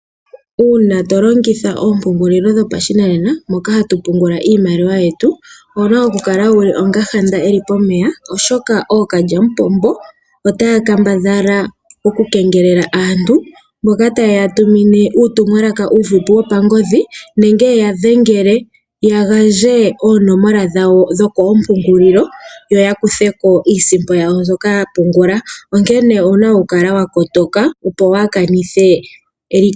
Uuna to longitha oompungulilo dhopashinanena moka hatu pungula iimaliwa yetu. Owu na okukala wuli onga handa eli pomeya, oshoka ookalyamupombo otaya kambadhala okukengelela aantu mboka taye ya tumine uuutumwalaka uufupi wopangodhi nenge ye ya dhengele, ya gandje oonomola dhawo dho koompungulilo. Yo ya kuthe ko iisimpo yawo mbyoka ya pungula. Onkene ouna okukala wa kotoka opo waa kanithe eliko.